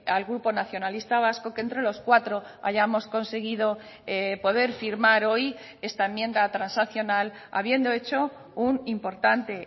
al grupo nacionalista vasco que entre los cuatro hayamos conseguido poder firmar hoy esta enmienda transaccional habiendo hecho un importante